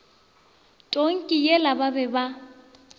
tonki yela ba be ba